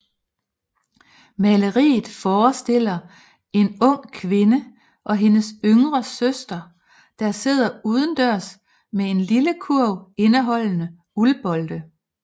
Maleriet forestiller en ung kvinde og hendes yngre søster der sidder udendørs med en lille kurv indeholdende uldbolde